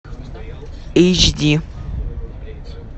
эйч ди